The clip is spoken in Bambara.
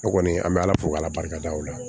Ne kɔni an bɛ ala fo k'ala barika da o la